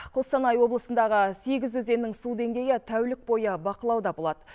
қостанай облысындағы сегіз өзеннің су деңгейі тәулік бойы бақылауда болады